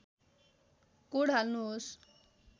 code हाल्नुहोस्